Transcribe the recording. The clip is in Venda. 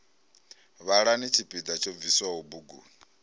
vhalani tshipiḓa tsho bviswaho buguni